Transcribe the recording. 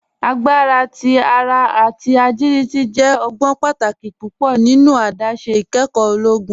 Agbara ti ara ati agiliti jẹ ọgbọn pátàkì púpọ nínu àdásé ìkẹ́kọ ologun.